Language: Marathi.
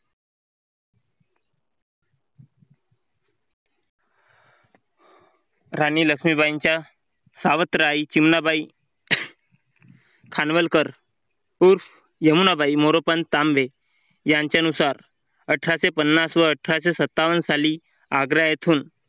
राणी लक्ष्मीबाईंच्या सावत्र आई चिमणाबाई खानवलकर उर्फ यमूनाबाई मोरोपंत तांबे यांच्यानुसारअठराशेपन्नास व अठराशेसत्तावन्न साली आग्रा येथून